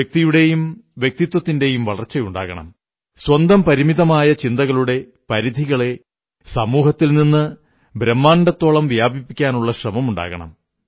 വ്യക്തിയുടെയും വ്യക്തിത്വത്തിന്റെയും വളയർച്ചയുണ്ടാകണം സ്വന്തം പരിമിതമായ ചിന്തകളുടെ പരിധികളെ സമൂഹത്തിൽ നിന്ന് ബ്രഹ്മാണ്ഡത്തോളം വ്യാപിപ്പിക്കാനുള്ള ശ്രമമുണ്ടാകണം